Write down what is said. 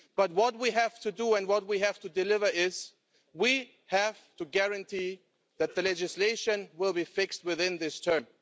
But what we have to do and what we have to deliver is that we have to guarantee that the legislation will be fixed within this term.